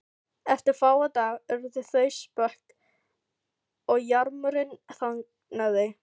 Eftir fáa daga urðu þau spök og jarmurinn þagnaði.